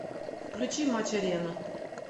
включи матч арена